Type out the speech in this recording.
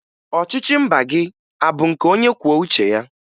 Ọchịchị mba gị a bụ nke onyekwuouche ya?